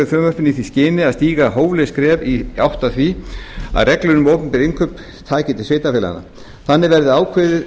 frumvarpinu í því skyni að stíga hóflegt skref í átt að því að reglur um opinber innkaup taki til sveitarfélaganna þannig verði kveðið